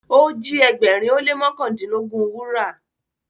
o ji ẹgbẹrin o le mọkandinlogun wúrà.